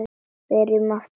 Byrjum aftur upp á nýtt.